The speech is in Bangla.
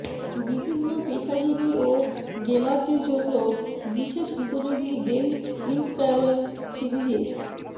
বিভিন্ন পেশাজীবী ও গেমারদের জন্য বিশেষ উপযোগী ডেল ইন্সপায়রন সিরিজের